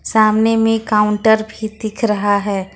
सामने में काउंटर भी दिख रहा है।